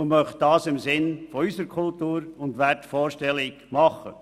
Wir möchten dies im Sinne unserer Kultur und unserer Wertvorstellungen tun.